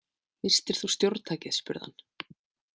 Misstir þú stjórntækið spurði hann.